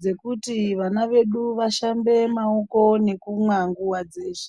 dzekuti vana vedu vashambe maoko nekumwa nguva dzeshe.